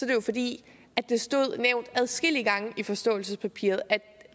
det jo fordi det står nævnt adskillige gange i forståelsespapiret at